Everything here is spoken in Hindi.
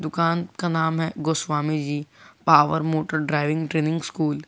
दुकान का नाम है Goswami ji power motor driving training school.